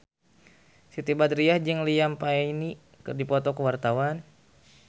Siti Badriah jeung Liam Payne keur dipoto ku wartawan